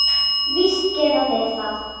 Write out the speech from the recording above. Víst gera þeir það!